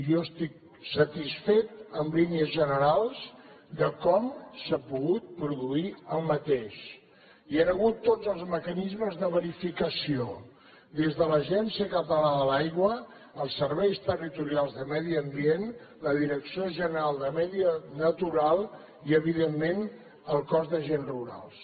jo estic satisfet en línies generals de com s’ha pogut produir aquest hi han hagut tots els mecanismes de verificació des de l’agència catalana de l’aigua els serveis territorials de medi ambient la direcció general de medi natural i evidentment el cos d’agents rurals